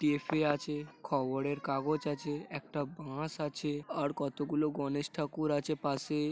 টি .এফ . এ. আছে খবরের কাগজ আছে একটা বাস আছে আর কতগুলো গণেশ ঠাকুর আছে পাশেই ।